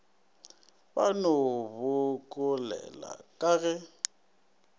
ba no bokolela ka ge